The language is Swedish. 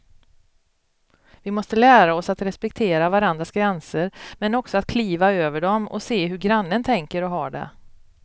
Vi måste lära oss att respektera varandras gränser men också att kliva över dem och se hur grannen tänker och har det.